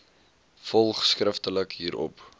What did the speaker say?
volg skriftelik hierop